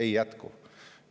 Ei jätku!